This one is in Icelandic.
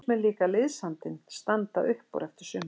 Svo finnst mér líka liðsandinn standa upp úr eftir sumarið.